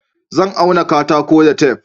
Zan auna katako da tef